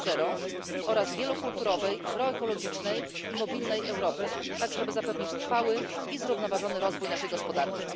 4.0 oraz wielokulturowej, proekologicznej i mobilnej Europy, aby zapewnić trwały i zrównoważony rozwój naszej gospodarki.